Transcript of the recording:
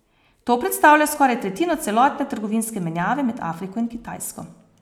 To predstavlja skoraj tretjino celotne trgovinske menjave med Afriko in Kitajsko.